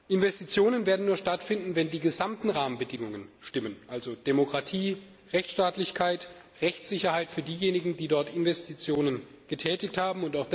Investitionen werden nur stattfinden, wenn die gesamten Rahmenbedingungen stimmen, also Demokratie, Rechtstaatlichkeit, Rechtssicherheit für diejenigen, die dort Investitionen getätigt haben.